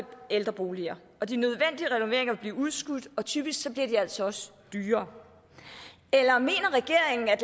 ældreboliger og de nødvendige renoveringer vil blive udskudt og typisk bliver de altså også dyrere eller mener regeringen at